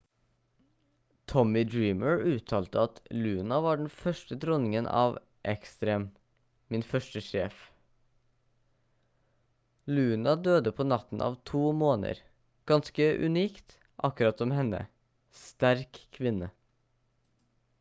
tommy dreamer uttalte at «luna var den første dronningen av ekstrem. min første sjef. luna døde på natten av to måner. ganske unikt akkurat som henne. sterk kvinne»